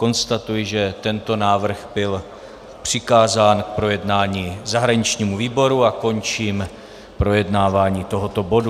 Konstatuji, že tento návrh byl přikázán k projednání zahraničnímu výboru, a končím projednávání tohoto bodu.